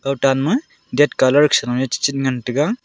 otanma ded colour sa noe chi chit ngan taga.